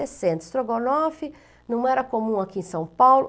Sessenta. Estrogonofe não era comum aqui em São Paulo.